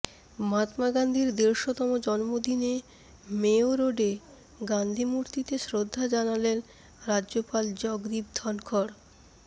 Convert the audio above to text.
মহাত্মা গান্ধির দেড়শোতম জন্মদিনে মেয়ো রোডে গান্ধি মূর্তিতে শ্রদ্ধা জানালেন রাজ্যপাল জগদীপ ধনখড়